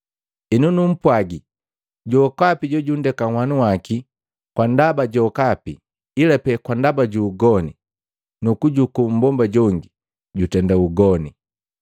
Henu numpwagi, jokapi jojundeka nhwanu waki kwa ndaba jokapi ilapee kwa ndaba ju ugoni, nukujuku mmbomba jongi, jutenda ugoni.”